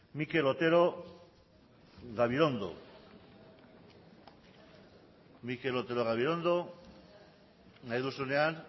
mikel otero gabirondo mikel otero gabirondo nahi duzunean